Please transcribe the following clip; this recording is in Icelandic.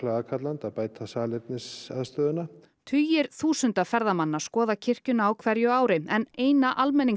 aðkallandi að bæta salernisaðstöðuna tugir þúsunda ferðamanna skoða kirkjuna á hverju ári en eina